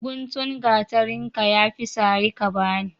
Guntun gatarinka yafi sari ka bani